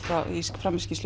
fram í skýrslu